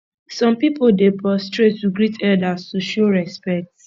some pipo dey prostrate to greet elders to show respect